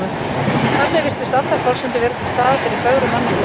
Þar með virtust allar forsendur vera til staðar fyrir fögru mannlífi.